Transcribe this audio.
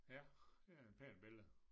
Ja det er en pæn billede